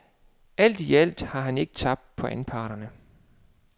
Alt i alt har han ikke tabt på anparterne.